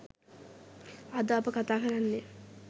අද අප කතා කරන්නේ